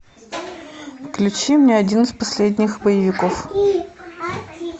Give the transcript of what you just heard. включи мне один из последних боевиков